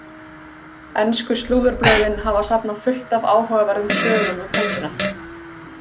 Ensku slúðurblöðin hafa safnað fullt af áhugaverðum sögum um helgina.